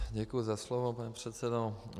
Děkuji za slovo, pane předsedo.